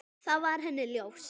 Það var henni ljóst.